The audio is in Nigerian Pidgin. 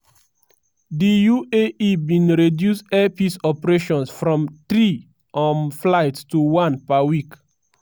di uae bin reduce air peace operations from three um flights to one per week.